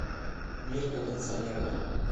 мир кондиционеров